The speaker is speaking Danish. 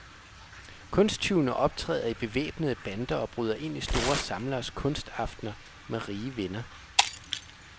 Kunsttyvene optræder i bevæbnede bander og bryder ind i store samleres kunstaftener med rige venner.